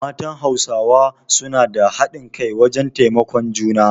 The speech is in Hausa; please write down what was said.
Matan Hausawa su na da hadin kai wajen taimakon juna